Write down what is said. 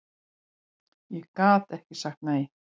Ég gat ekki sagt nei.